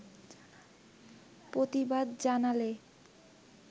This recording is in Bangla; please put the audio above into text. প্রতিবাদ জানালে